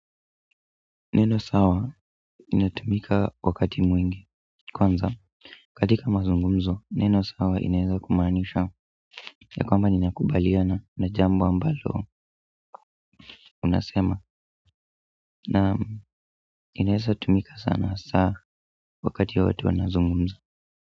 Neno sawa inatumika wakati mwingi. Kwanza, katika mazungumzo, neno sawa inaeza kumaanisha ya kwamba ninakubaliana na jambo ambalo unasema na inaeza tumika sana hasa wakati watu wanazungumza.